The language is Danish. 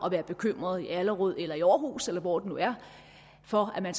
at være bekymret i allerød eller i aarhus eller hvor det nu er for at man